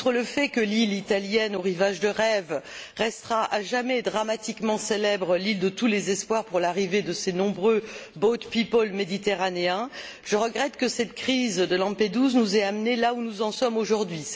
Outre le fait que l'île italienne aux rivages de rêve restera à jamais dramatiquement célèbre l'île de tous les espoirs pour l'arrivée de ces nombreux boat people méditerranéens je regrette que cette crise de Lampedusa nous ait amenés là où nous en sommes aujourd'hui.